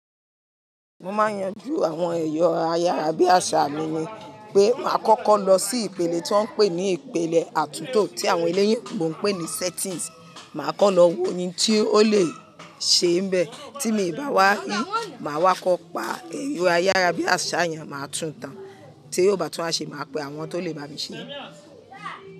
Mo máa n yanjú àwọn ẹ̀yọ̀ ayárábíàsá mi ni pé màá kọ́kọ́ lọ sí ìpele ti won ń pè ní ìpele àtúntò tí àwọn eleyinbonń pè ní settings. Màá kọ́ lọ wo ohun tí ó lè ṣe níbẹ̀, tí mo bá wá ri, màá wá kọ́ pa ẹ̀rọ̀ ayárábíàsá yẹn máa tún tán. Tí ó bá tún wa ṣe, màá pe àwọn tó lè bá mi ṣe.